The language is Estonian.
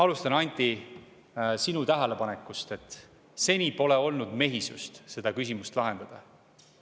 Alustan, Anti, sinu tähelepanekust, et seni pole olnud mehisust seda küsimust lahendada.